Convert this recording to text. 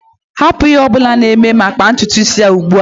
Hapụ ihe ọ bụla ị na-eme ma kpaa ntutu isi ya ugbu a!